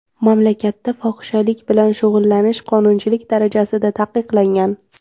Mamlakatda fohishalik bilan shug‘ullanish qonunchilik darajasida taqiqlangan.